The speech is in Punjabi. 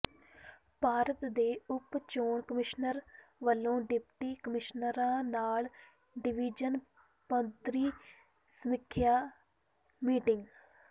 ਭਾਰਤ ਦੇ ਉਪ ਚੋਣ ਕਮਿਸ਼ਨਰ ਵਲੋਂ ਡਿਪਟੀ ਕਮਿਸ਼ਨਰਾਂ ਨਾਲ ਡਿਵੀਜ਼ਨ ਪੱਧਰੀ ਸਮੀਖਿਆ ਮੀਟਿੰਗ